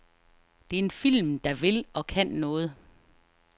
Det er en film, der vil og kan noget.